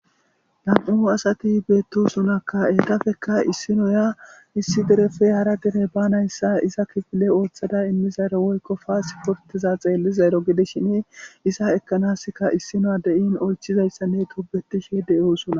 nam7u asati beettosunakka eetafekka issinoya issi derefe hara dire banayssa isa kifile ooththada immizayro woykko paasiportiza xeellizayro gidishini isa ekkanaska issino adeyin oychizayssanne tobetishe de7oosuna